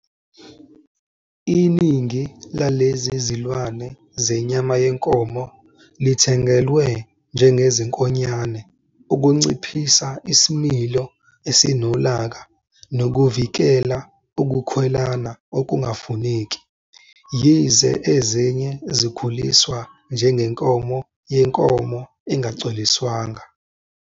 Iningi lalezi zilwane zenyama yenkomo lithengelwe njengezinkonyane ukunciphisa isimilo esinolaka nokuvikela ukukhwelana okungafuneki, yize ezinye zikhuliswa njengenkomo yenkomo engacoliswanga.